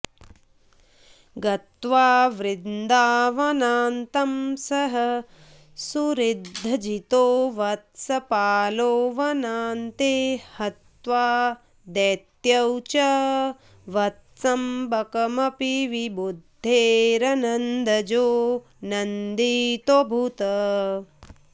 गत्वा वृन्दावनान्तं सह सुहृदजितो वत्सपालो वनान्ते हत्वा दैत्यौ च वत्सं बकमपि विबुधैर्नन्दजो नन्दितोऽभूत्